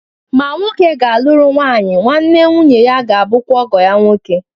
Ma nwoke gāluru nwanyi, nwa-nne nwunye-ya gābu kwa ọgọ-ya nwoke